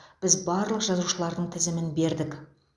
біз барлық жазушылардың тізімін бердік